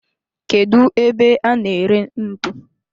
Kedu ebe a na ere ntu?